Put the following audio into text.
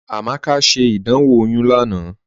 Amaka ṣẹ́ ìdánwò oyún lánà